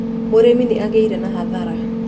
Mũrĩmi nĩ agĩire na hathara